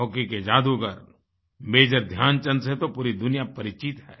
hockey के जादूगर major Dhyan Chand से तो पूरी दुनिया परिचित है